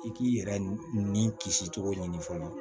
I k'i yɛrɛ ni kisi cogo ɲini fana